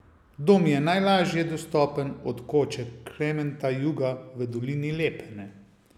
Dom je najlažje dostopen od koče Klementa Juga v dolini Lepene.